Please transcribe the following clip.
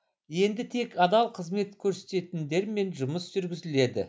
енді тек адал қызмет көрсететіндермен жұмыс жүргізіледі